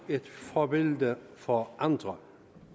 et forbillede for andre